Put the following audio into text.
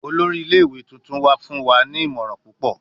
Olori ile-iwe tuntun wa fun wa ni imọran pupọ